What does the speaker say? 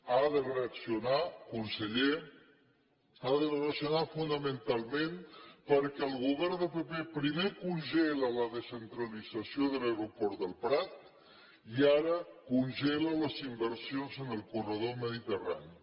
ha de reaccionar conseller ha de reaccionar fonamentalment perquè el govern del pp primer congela la descentralització de l’aeroport del prat i ara congela les inversions en el corredor mediterrani